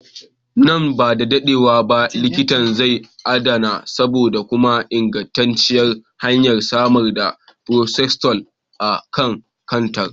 Nan ba da dadewa ba likitan zai adana sabon kuma ingantacciyar hanyar samar da paracetamol a kan kantar.